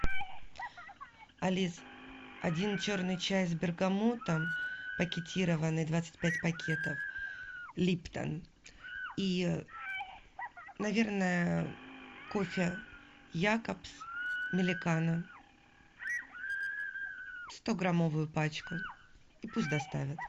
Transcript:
алис один черный чай с бергамотом пакетированный двадцать пять пакетов липтон и наверное кофе якобс миликано стограммовую пачку и пусть доставят